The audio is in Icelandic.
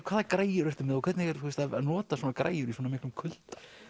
hvaða græjur ertu með og hvernig er að nota svona græjur í svona miklum kulda